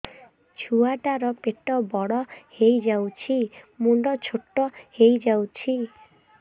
ଛୁଆ ଟା ର ପେଟ ବଡ ହେଇଯାଉଛି ମୁଣ୍ଡ ଛୋଟ ହେଇଯାଉଛି